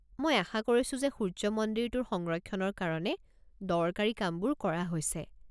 মই আশা কৰিছো যে সূৰ্য্য মন্দিৰটোৰ সংৰক্ষণৰ কাৰণে দৰকাৰী কামবোৰ কৰা হৈছে।